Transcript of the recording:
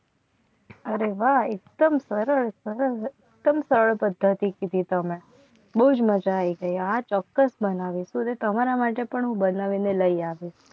અરે વાહ એકદમ સરસ સરસ પદ્ધતિ કી તમને બહુ જ મજા આવી. આ ચોક્કસ બનાવી તમારા માટે પણ હું બનાવીને લઈ આવ્યો.